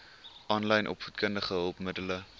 aanlyn opvoedkundige hulpmiddele